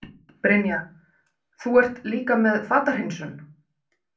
Brynja: Þú ert líka með fatahreinsun?